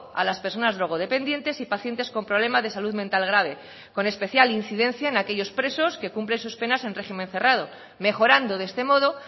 a las personas drogodependientes y pacientes con problemas de salud mental grave con especial incidencia en aquellos presos que cumplen sus penas en régimen cerrado mejorando de este modo